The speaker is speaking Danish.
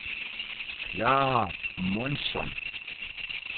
Klara Månsson